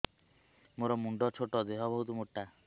ମୋର ମୁଣ୍ଡ ଛୋଟ ଦେହ ବହୁତ ମୋଟା